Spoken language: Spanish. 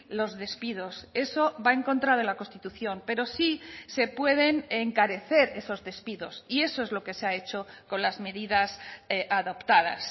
los despidos eso va en contra de la constitución pero sí se pueden encarecer esos despidos y eso es lo que se ha hecho con las medidas adoptadas